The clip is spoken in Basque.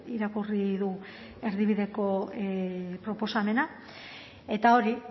irakurri du erdibideko proposamena eta hori